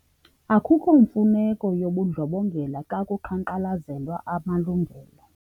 Akukho mfuneko yobundlobongela xa kuqhankqalazelwa amalungelo.